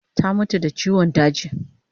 Ta mutu da chiwan daji